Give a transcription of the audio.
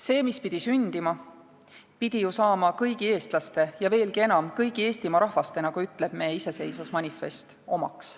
See, mis pidi sündima, pidi ju saama kõigi eestlaste ja veelgi enam, kõigi Eestimaa rahvaste omaks, nagu ütleb me iseseisvusmanifest.